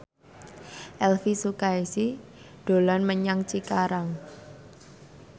Elvi Sukaesih dolan menyang Cikarang